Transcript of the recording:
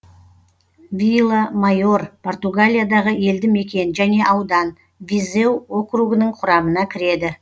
вила майор португалиядағы елді мекен және аудан визеу округінің құрамына кіреді